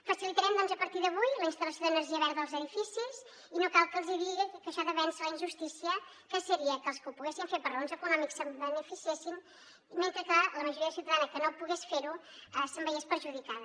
facilitarem doncs a partir d’avui la instal·lació d’energia verda als edificis i no cal que els digui que això ha de vèncer la injustícia que seria que els que ho poguessin fer per raons econòmiques se’n beneficiessin mentre que la majoria ciutadana que no pogués fer ho se’n veiés perjudicada